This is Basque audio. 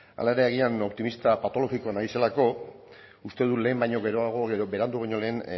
hala ere agian optimista patologikoa naizelako uste dut lehen baino geroago edo berandu baino lehen